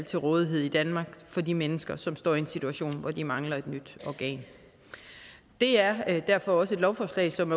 til rådighed i danmark for de mennesker som står i en situation hvor de mangler et nyt organ det er derfor også et lovforslag som